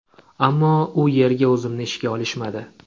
Ammo u yerga o‘zimni ishga olishmadi.